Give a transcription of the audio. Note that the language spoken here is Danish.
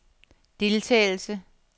deltagelse